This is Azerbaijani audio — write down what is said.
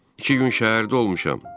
İki gün şəhərdə olmuşam.